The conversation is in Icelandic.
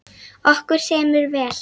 Okkur semur vel